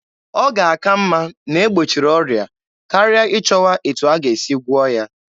Ọ ga-aka mma na-egbochiri ọrịa karịa ịchọwa etu a ga-esi gwụọ ya.